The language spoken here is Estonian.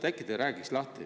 Äkki te räägiksite lahti.